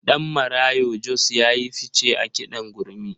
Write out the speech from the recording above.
Ɗanmarayo Jos ya yi fice a kiɗan gurmi.